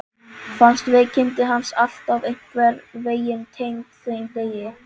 Fannst veikindi hans alltaf einhvern veginn tengd þeim degi.